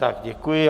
Tak děkuji.